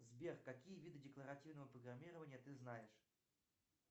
сбер какие виды декоративного программирования ты знаешь